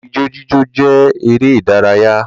Ijó jíjó jẹ́ eré ìdárayá